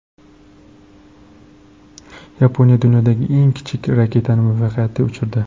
Yaponiya dunyodagi eng kichik raketani muvaffaqiyatli uchirdi .